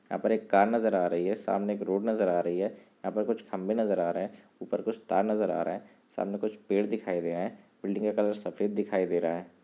यहाँ पर एक कार नजर आ रही है सामने एक रोड नजर आ रही है यहाँ पर कुछ खंबे नजर आ रहे हैं ऊपर कुछ तार नजर आ रहा है सामने कुछ पेड़ दिखाई दे रहा है बिल्डिंग का कलर सफेद दिखाई दे रहा है।